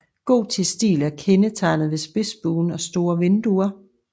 Gotisk stil er kendetegnet ved spidsbuen og store vinduer